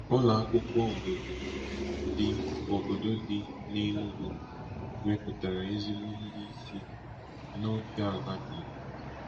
Ụlọ akwụkwọ obodo dị obodo dị n'Enugu wepụtara ezigbo ndị isi n'ofe ala Igbo.